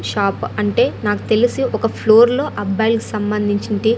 shop అంటే నాకు తెలిసి ఒక ఫ్లోర్ లో అబ్బాయిలకు సంబంధించింటి--